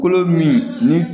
Kolo min ni